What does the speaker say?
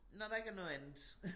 Når der ikke er noget andet